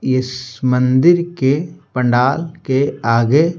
इस मंदिर के पंडाल के आगे--